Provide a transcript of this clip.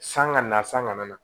San ka na san ka na